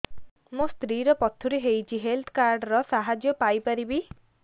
ମୋ ସ୍ତ୍ରୀ ର ପଥୁରୀ ହେଇଚି ହେଲ୍ଥ କାର୍ଡ ର ସାହାଯ୍ୟ ପାଇପାରିବି